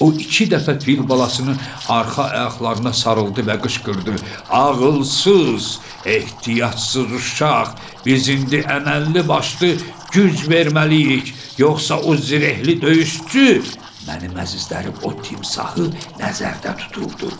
O iki dəfə fil balasının arxa ayaqlarına sarıldı və qışqırdı: Ağılsız, ehtiyatsız uşaq, biz indi əməlli başlı güc verməliyik, yoxsa o zirehli döyüşçü, mənim əzizlərim o timsahı nəzərdə tuturdu.